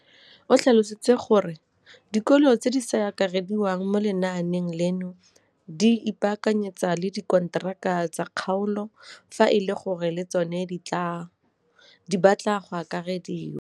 O tlhalositse gore dikolo tse di sa akarediwang mo lenaaneng leno di ikopanye le dikantoro tsa kgaolo fa e le gore le tsona di batla go akarediwa.